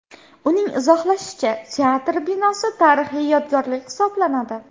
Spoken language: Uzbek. Uning izohlashicha, teatr binosi tarixiy yodgorlik hisoblanadi.